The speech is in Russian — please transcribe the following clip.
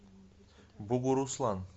бугуруслан